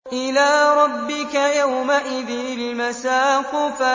إِلَىٰ رَبِّكَ يَوْمَئِذٍ الْمَسَاقُ